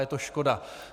Je to škoda.